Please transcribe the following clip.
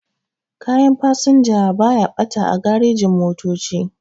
Kayan fasinja baya ɓata a garejin-motoci.